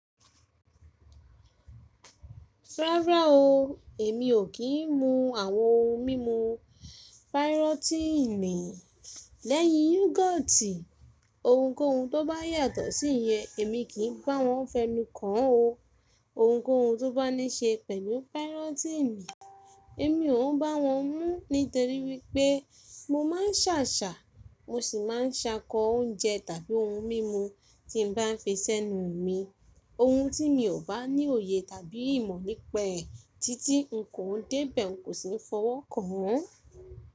Rárá o, èmi ò kí ń mu àwọn ohun mímu pírọ́tíìnì lẹ́yìn yúgọ́ọ́tì. Ounkóun tó bá yàtọ̀ sí iye èmi kì í bá wọn fẹnu kàn o. Ounkóun tó bá ní ṣe pẹ̀lú pírọ́tíìnì, èmi òún bá wọn mú́ nítorí wípé mo máa ń ṣàṣà, mo sì máa ń ṣakọ oúnjẹ tàbí oun mímu tí ń bá fi sẹ́nu mi. Oun tí mi ò bá ní òye tàbí ìmọ̀ nípa ẹ̀ títí n kò dé bẹ̀ un kò sì ń fọwọ́ kàn án.